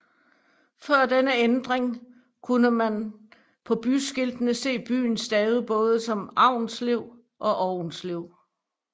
Før denne ændring kunne man på byskiltene se byen stavet både som Avnslev og Aunslev